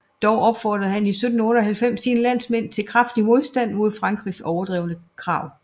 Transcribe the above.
Dog opfordrede han 1798 sine landsmænd til kraftig modstand mod Frankrigs overdrevne krav